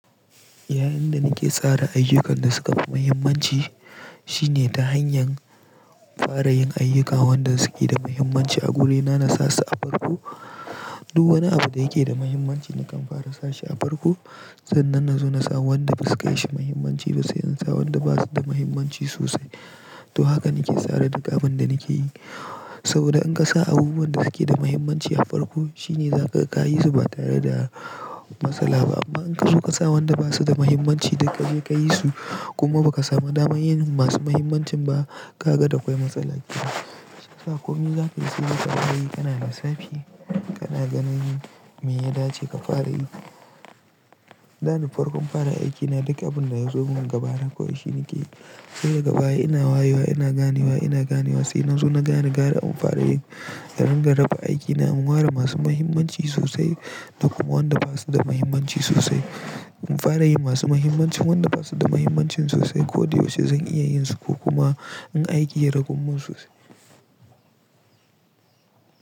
Yayin da nake tsara ayyukan da suka fi muhimmanci shine ta hanyar fara yin ayyuka waɗanda suke da muhimmanci a gurina na sa su a farko. Duk wani abu da yake da muhimmanci nakan fara sa shi a farko sannan na zo na sa waɗanda ba su da kayan shi muhimmanci ba sai in sa waɗanda ba su da muhimmanci sosai. To hakan nake sa rai duk abin da nake yi saboda in ka sa abubuwan da suke da muhimmanci a farko shine za kaga kayi su ba tare da matsala ba. Amma in ka zo ka sa wanda ba su da muhimmanci da ka je ka yi su kuma ba ka samu damar yin masu muhimmancin ba ka ga da kwai matsala yake. Sai sa komai za ka yi sai ka fara yi kana da safe kana ganin me ya dace ka fara yi. Dane farkon fara aiki na duka abin da ya zo min gaba na ko yaushe nake yi. Sai da baya ina wayewa ina ganewa ina ganewa sai nan zu na gane gara in fara yin. Taringa raba aiki na in ware masu muhimmanci sosai da kuma wanda ba su da muhimmanci sosai. In fara yin masu muhimmancin wanda ba su da muhimmancin sosai ko da yaushe zan iya yin su ko kuma in aiki ragummu sosai.